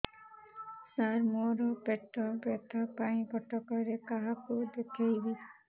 ସାର ମୋ ର ପେଟ ବ୍ୟଥା ପାଇଁ କଟକରେ କାହାକୁ ଦେଖେଇବି